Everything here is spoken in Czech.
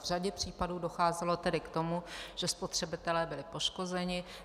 V řadě případů docházelo tedy k tomu, že spotřebitelé byli poškozeni.